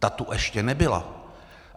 Ta tu ještě nebyla.